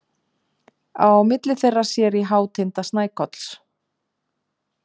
Á milli þeirra sér í hátinda Snækolls.